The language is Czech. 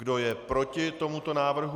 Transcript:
Kdo je proti tomuto návrhu?